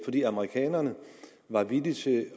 fordi amerikanerne var villige til